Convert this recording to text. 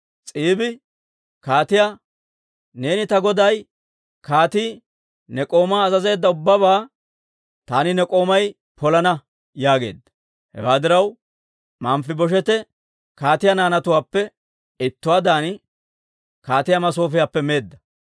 S'iibi kaatiyaa, «Neeni ta goday kaatii ne k'oomaa azazeedda ubbabaa taani ne k'oomay polana» yaageedda. Hewaa diraw, Manfibosheete kaatiyaa naanatuwaappe ittuwaadan kaatiyaa masoofiyaappe meedda.